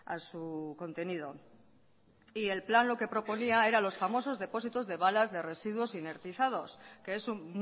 a su contenido y el plan lo que proponía era los famosos depósitos de balas de residuos energizados que es un